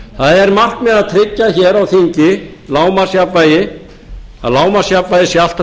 það er markmið að tryggja hér á þingi lágmarksjafnvægi að lágmarksjafnvægi sé alltaf